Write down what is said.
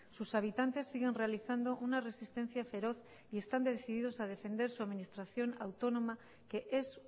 sus habitantes siguen realizando una resistencia feroz y están decididos a defender su administración autónoma que es